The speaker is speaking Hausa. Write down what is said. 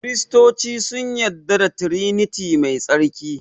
Kiristoci sun yarda da triniti mai tsarki